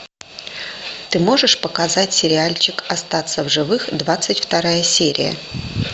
ты можешь показать сериальчик остаться в живых двадцать вторая серия